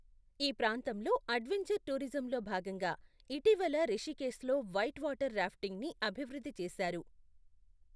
ఈ ప్రాంతంలో అడ్వెంచర్ టూరిజంలో భాగంగా ఇటీవల రిషికేశ్లో వైట్ వాటర్ రాఫ్టింగ్ని అభివృద్ధి చేశారు.